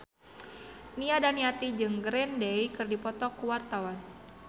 Nia Daniati jeung Green Day keur dipoto ku wartawan